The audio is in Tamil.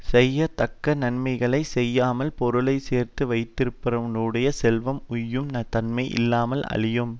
செய்யத்தக்க நன்மைகளைச் செய்யாமல் பொருளை சேர்த்து வைத்திருப்பவனுடைய செல்வம் உய்யுந் தன்மை இல்லாமல் அழியும்